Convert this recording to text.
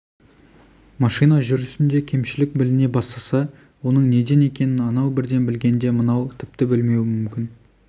машина жүрісінде кемшілік біліне бастаса оның неден екенін анау бірден білгенде мынау тіпті білмеуі мүмкін